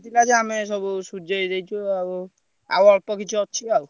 ଆସୁଥିଲା ଯେ ଆମେ ସବୁ ସୁଜେଇ ଦେଇଛୁ ଆଉ ଆଉ ଅଳ୍ପ କିଛି ଅଛି ଆଉ।